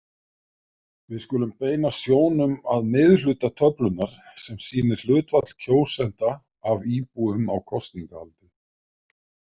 Við skulum beina sjónum að miðhluta töflunnar sem sýnir hlutfall kjósenda af íbúum á kosningaaldri.